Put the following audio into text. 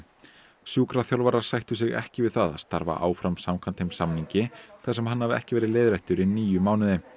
sjúkraþjálfarar sættu sig ekki við það að starfa áfram samkvæmt þeim samningi þar sem hann hafi ekki verið leiðréttur í níu mánuði